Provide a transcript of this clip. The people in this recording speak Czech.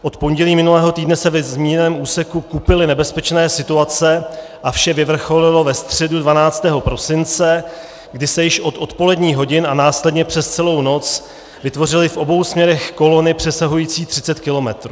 Od pondělí minulého týdne se ve zmíněném úseku kupily nebezpečné situace a vše vyvrcholilo ve středu 12. prosince, kdy se již od odpoledních hodin a následně přes celou noc vytvořily v obou směrech kolony přesahující 30 kilometrů.